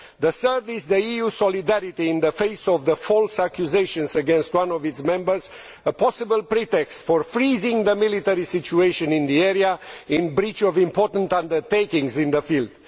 The third is EU solidarity in the face of the false accusations against one of its members, a possible pretext for freezing the military situation in the area in breach of important undertakings in the field.